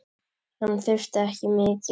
Hann þurfti ekki mikið.